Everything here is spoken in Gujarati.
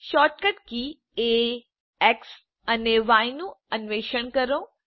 શૉર્ટકટ કી એ એક્સ અને ય નું અન્વેષણ કરો